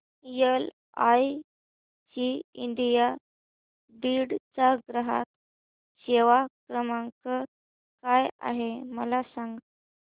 LIC India Beed चा ग्राहक सेवा क्रमांक काय आहे मला सांग